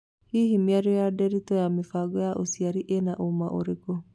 Hihi mĩario ya Nderitũ ya mĩbango ya ũciari ĩna ũũma ũrĩkũ